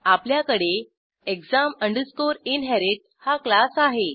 आपल्याकडे exam inherit हा class आहे